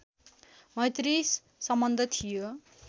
मैत्री सम्बन्ध थियो